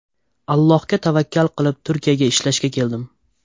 Allohga tavakkal qilib, Turkiyaga ishlashga keldim.